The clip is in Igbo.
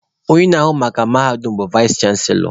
Onye na-ahụ maka mahadum bụ vaịs chanselọ